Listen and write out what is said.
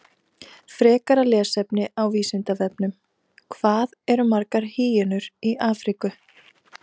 Frekara lesefni á Vísindavefnum: Hvað eru margar hýenur í Afríku?